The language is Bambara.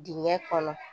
Dingɛ kɔnɔ